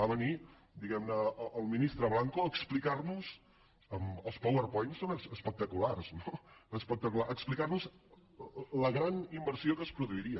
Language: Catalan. va venir diguem ne el ministre blanco a explicar nos amb els powerpoints són espectaculars no la gran inversió que es produiria